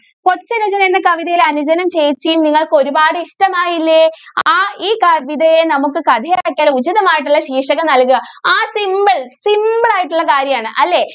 കൊച്ചനുജൻ എന്ന കവിതയിൽ അനുജനെയും ചേച്ചിയെയും നിങ്ങൾക്ക് ഒരുപാട് ഇഷ്ടം ആയില്ലേ ആ ഈ കവിതയെ നമുക്ക് കഥ ഉചിതമായിട്ടുള്ള ശീർഷകം നൽകുക ആ simple, simple ആയിട്ടുള്ള കാര്യം ആണ്. അല്ലേ?